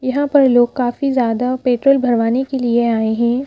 यहां पर लोग काफी ज्यादा पेट्रोल भरवाने के लिए आए हैं ।